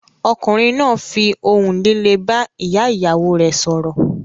Ọkùnrin náà fi ohùn líle bá ìyá-ìyàwó rẹ̀ sọ̀rọ̀.